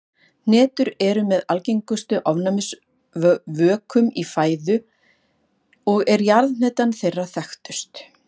Hnetur eru með algengustu ofnæmisvökum í fæðu og er jarðhnetan þeirra þekktust.